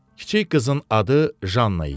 Kiçik qızın adı Janna idi.